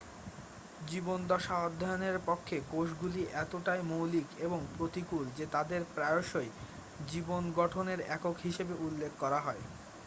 "জীবনদশা অধ্যয়নের পক্ষে কোষগুলি এতটাই মৌলিক এবং প্রতিকূল যে তাদের প্রায়শই "জীবন গঠনের একক" হিসাবে উল্লেখ করা হয়।